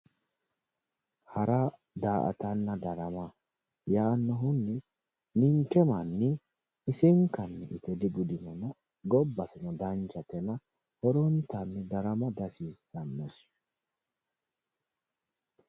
Hara daa"atanna darama yaannohunni ninke manni isinkanni ite digudinona gobba gobbasino danchatena horontanni darama dihasiissannosi